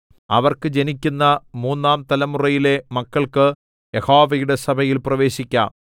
അവർക്ക് ജനിക്കുന്ന മൂന്നാം തലമുറയിലെ മക്കൾക്ക് യഹോവയുടെ സഭയിൽ പ്രവേശിക്കാം